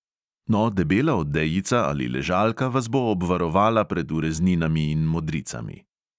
No, debela odejica ali ležalka vas bo obvarovala pred urezninami in modricami.